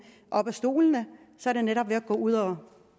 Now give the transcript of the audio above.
op af stolene er det netop ved at gå ud og